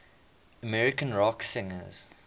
american rock singers